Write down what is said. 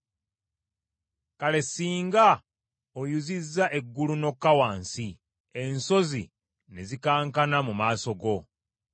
Kale singa oyuzizza eggulu n’okka wansi, ensozi ne zikankana mu maaso go!